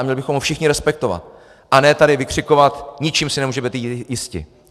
A měli bychom ho všichni respektovat, a ne tady vykřikovat: ničím si nemůžete být jisti!